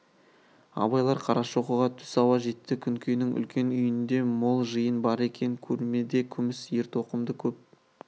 абайлар қарашоқыға түс ауа жетті күнкенің үлкен үйінде мол жиын бар екен кермеде күміс ертоқымды көп